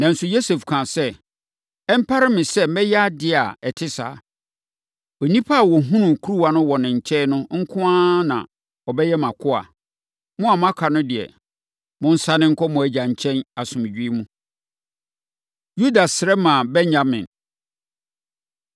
Nanso, Yosef kaa sɛ, “Ɛmpare me sɛ mɛyɛ adeɛ a ɛte saa. Onipa a wɔhunuu kuruwa no wɔ ne nkyɛn no nko ara na ɔbɛyɛ mʼakoa. Mo a moaka no deɛ, monsane nkɔ mo agya nkyɛn asomdwoeɛ mu.” Yuda Srɛ Ma Benyamin